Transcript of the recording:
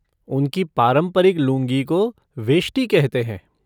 उनकी पारंपरिक लुंगी को वेष्टी कहते हैं।